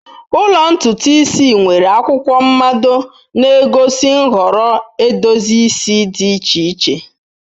Ụlọ ntutu isi nwere akwụkwọ mmado na-egosi nhọrọ edozi isi dị iche iche.